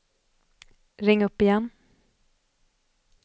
ring upp igen